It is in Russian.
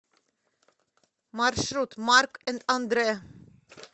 маршрут марк энд андрэ